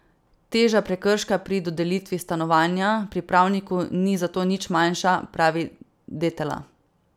Teža prekrška pri dodelitvi stanovanja pripravniku ni zato nič manjša, pravi Detela.